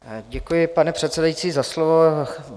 Děkuji, pane předsedající, za slovo.